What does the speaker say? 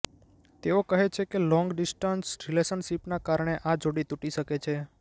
તેઓ કહે છે કે લોંગ ડિસ્ટન્સ રિલેશનશિપના કારણે આ જોડી તૂટી શકે છે